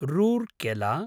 Rourkela